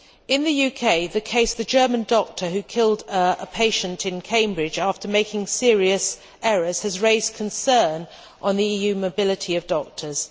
In the UK, the case of the German doctor who killed a patient in Cambridge after making serious errors has raised concern about the EU mobility of doctors.